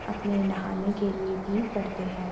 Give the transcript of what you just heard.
अपने नहाने के लिए भी करते हैं।